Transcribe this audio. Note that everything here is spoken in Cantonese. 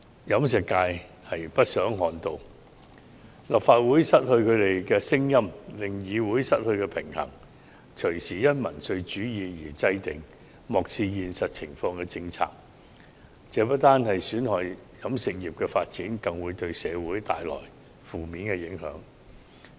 飲食業不想看到立法會失去他們的聲音，令議會失去平衡，因民粹主義而制訂漠視現實情況的政策，這不單損害飲食業的發展，更會對社會帶來負面影響。